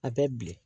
A bɛ bilen